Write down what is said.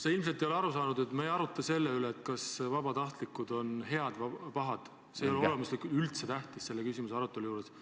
Sa ilmselt ei ole aru saanud, et me ei arutle selle üle, kas vabatahtlikud on head või pahad, see ei ole selle küsimuse arutelu juures olemuslikult üldse tähtis.